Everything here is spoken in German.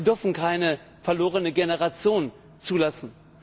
Wir dürfen keine verlorene Generation zulassen.